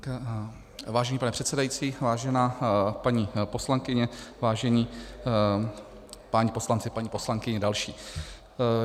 Vážený pane předsedající, vážená paní poslankyně, vážení páni poslanci, paní poslankyně další.